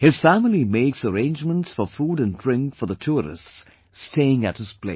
His family makes arrangements for food and drink for the tourists staying at his place